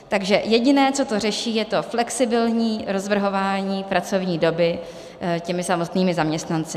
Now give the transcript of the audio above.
Takže jediné, co to řeší, je to flexibilní rozvrhování pracovní doby těmi samotnými zaměstnanci.